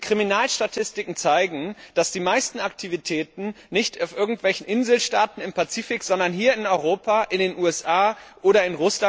Die Kriminalstatistiken zeigen, dass die meisten Aktivitäten nicht auf irgendwelchen Inselstaaten im Pazifik, sondern hier in Europa, in den USA oder z. B.